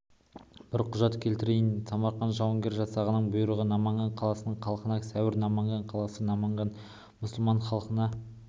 бір құжат келтірейін самарқан жауынгер жасағының бұйрығы наманган қаласының халқына сәуір наманган қаласы наманганның мұсылман халқына